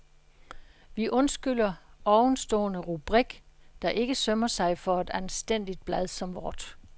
Vi undskylder ovenstående rubrik, der ikke sømmer sig for et anstændigt blad som vort.